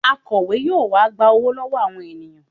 Akọ̀we yóò wá gba owó lọ́wọ́ àwọn ènìyàn